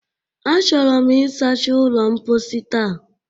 Achọrọ m ịsacha ụlọ mposi taa